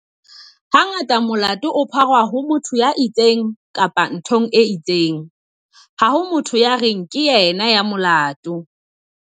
Hangata molato o pharwa ho motho ya itseng kapa nthong e itseng. Ha ho motho ya reng ke yena ya molato.